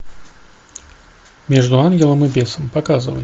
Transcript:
между ангелом и бесом показывай